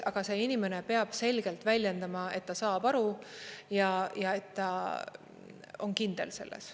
Aga see inimene peab selgelt väljendama, et ta saab aru et ta on kindel selles.